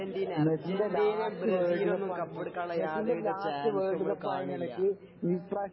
Argentina അരജന്റീനയും ബ്രസീലൊന്നും കപ്പടിക്കാനുള്ള യാതൊരു വിധ ചാൻസും ഇവടെ കാണുന്നില്ല